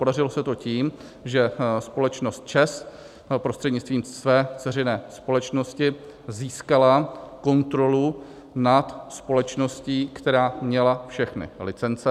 Podařilo se to tím, že společnost ČEZ prostřednictvím své dceřiné společnosti získala kontrolu nad společností, která měla všechny licence.